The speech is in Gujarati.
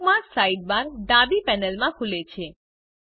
બુકમાર્ક્સ સાઇડબાર ડાબી પેનલમાં ખુલે છે